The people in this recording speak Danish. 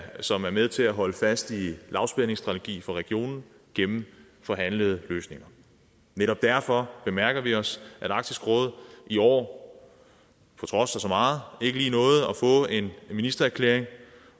som er med til at holde fast i lavspændingsstrategien for regionen gennem forhandlede løsninger netop derfor bemærker vi os at arktisk råd i år på trods af så meget ikke lige nåede at få lavet en ministererklæring